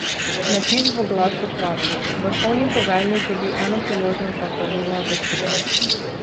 Napis v oglasu pravi: 'Vrhovni poveljnik dobi eno priložnost za pravilno odločitev.